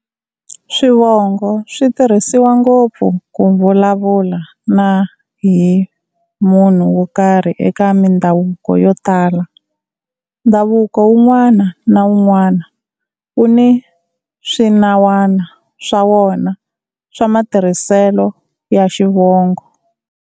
Swivongo swi tirhisiwa ngopfu ku vulavula na-hi munhu wo karhi eka mindhavuko yo tala. Ndhavuko wun'wana na wun'wana wu ni swinawana swa wona swa matirhiselo ya Xivongo.